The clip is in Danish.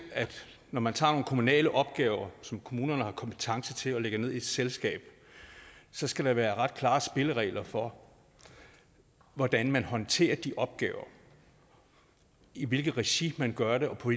at når man tager nogle kommunale opgaver som kommunerne har kompetence til at lægge ned i et selskab så skal der være ret klare spilleregler for hvordan man håndterer de opgaver i hvilket regi man gør det og på